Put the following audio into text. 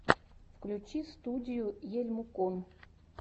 включи студию ельмукон